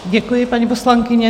Děkuji, paní poslankyně.